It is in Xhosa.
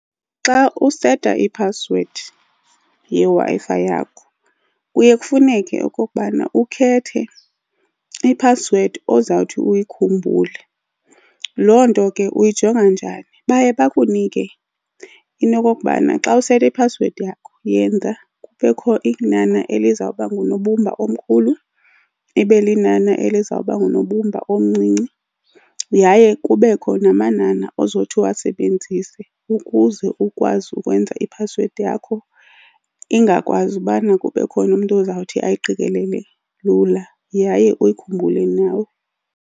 Xa useta i-password yeWi-Fi yakho kuye kufuneke okokubana ukhethe i-password ozawuthi uyikhumbuleke. Loo nto ke uyijonga njani? Baye bakunike into yokokubana xa useta i-password yakho yenza kubekho inani elizawuba ngunobumba omkhulu, ibe linani elizawuba ngunobumba omncinci yaye kubekho namanani ozothi uwasebenzise ukuze ukwazi ukwenza i-password yakho ingakwazi ubana kube khona umntu ozawuthi ayiqikelele lula, yaye uyikhumbule nawe.